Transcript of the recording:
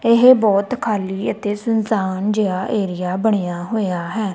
ਇਹ ਬਹੁਤ ਖਾਲ੍ਹੀ ਅਤੇ ਸੁਨਸਾਨ ਜਿਹਾ ਏਰੀਆ ਬਣਿਆ ਹੋਇਆ ਹੈ।